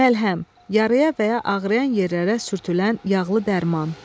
Məlhəm, yarıya və ya ağrıyan yerlərə sürtülən yağlı dərman.